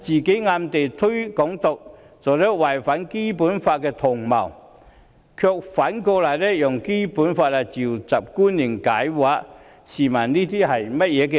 她暗推"港獨"並作為違反《基本法》的同謀，卻反過來引用《基本法》傳召官員來解釋，試問這是甚麼道理？